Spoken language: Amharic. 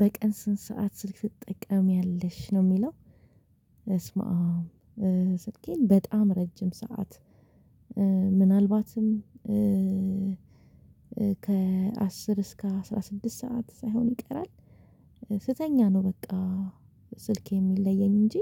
በቀን ስንት ሰዓት ስልክ ትጠቀሚያለሽ? ነው የሚለው በስማም ስልኬን በጣም ረጅም ሰዓት ምናልባትም ከአስር እስከ አስራ ስድስት ሰዓት ሳይሆን ይቀራል ስተኛ ነው በቃ ስልክ የሚለየኝ እንጂ